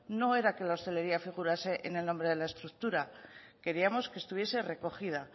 no era que la hostelería figurase en el nombre de la estructura queríamos que estuviese recogida